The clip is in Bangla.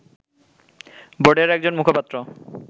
বোর্ডের একজন মুখপাত্র